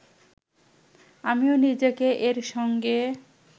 আমিও নিজেকে এর সঙ্গে